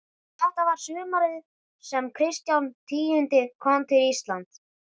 Og þetta var sumarið sem Kristján tíundi kom til Íslands.